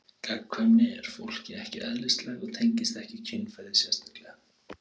Gagnkvæmni er fólki ekki eðlislæg og tengist ekki kynferði sérstaklega.